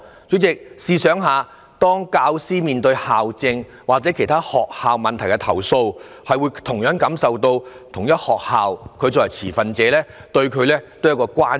主席，試想一下，當教師對校政或其他學校問題提出投訴，會受到同一學校有關的持份者的關注。